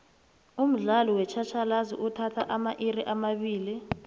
umdlalo wetjhatjhalazi uthatha amairi amabili